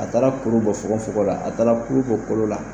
A taala kuru bɔ fogon fogon la, a taala kulu bɔ kolo la